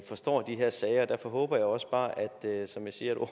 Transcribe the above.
forstår de her sager og derfor håber jeg også bare som jeg siger at